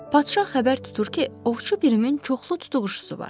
Padşah xəbər tutur ki, ovçu Pirimin çoxlu tutuquşusu var.